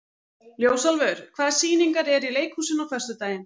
Ljósálfur, hvaða sýningar eru í leikhúsinu á föstudaginn?